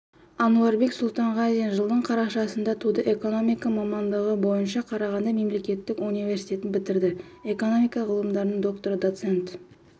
әнуарбек сұлтанғазин жылдың қарашасында туды экономика мамандығы бойынша қарағанды мемлекеттік университетін бітірді экономика ғылымдарының докторы доцент